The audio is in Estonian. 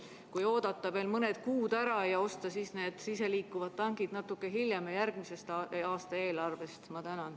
Kas poleks võinud oodata veel mõned kuud ja osta need iseliikuvad tankid natuke hiljem, järgmise aasta eelarve rahast?